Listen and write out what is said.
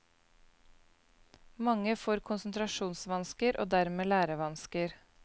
Mange får konsentrasjonsvansker og dermed lærevansker.